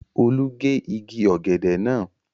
Olú gé igi ọ̀gẹ̀dẹ̀ náà